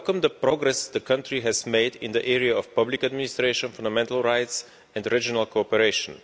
I welcome the progress the country has made in the area of public administration, fundamental rights and regional cooperation.